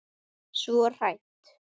Svo hrædd.